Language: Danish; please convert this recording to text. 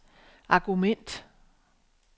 argument